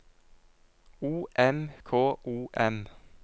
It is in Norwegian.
O M K O M